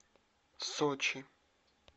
сочи